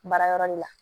Baara yɔrɔ de la